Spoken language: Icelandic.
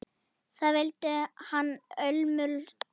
Það vildi hann ólmur gera.